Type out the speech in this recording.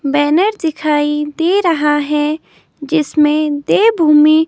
banner दिखाई दे रहा है जिसमें देवभूमि--